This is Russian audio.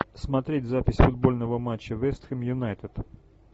смотреть запись футбольного матча вест хэм юнайтед